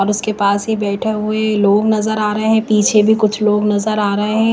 और उसके पास ही बैठे हुए लोग नजर आ रहे हैं पीछे भी कुछ लोग नजर आ रहे हैं।